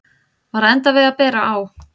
Var að enda við að bera á